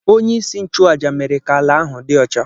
Onye-isi-nchu-àjà mere ka ala ahu di ọcha.